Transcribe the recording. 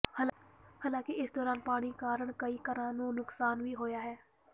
ਹਾਲਾਂਕਿ ਇਸ ਦੌਰਾਨ ਪਾਣੀ ਕਾਰਨ ਕਈ ਘਰਾਂ ਦਾ ਨੁਕਸਾਨ ਵੀ ਹੋਇਆ ਹੈ